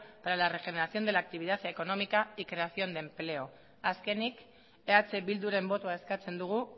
para la regeneración de la actividad económica y creación de empleo azkenik eh bilduren botoa eskatzen dugu